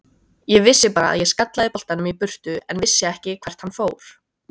Ég vissi bara að ég skallaði boltann í burtu en vissi ekki hvert hann fór.